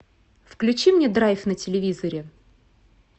включи мне драйв на телевизоре